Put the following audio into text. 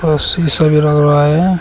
ऊपर शिशा भी लग रहा है।